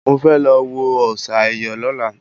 Mo fẹ́ lọ wo òòsà ẹ̀yọ̀ lọ́la